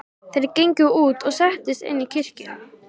Þeir gengu út og settust inn í kirkju.